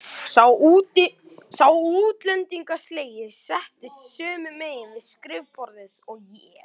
Sá útlendingslegi settist sömu megin við skrifborðið og ég.